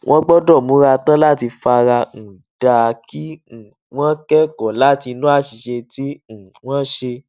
wón gbódò múra tán láti fara um dà á kí um wón kékòó látinú àṣìṣe tí um wón ṣe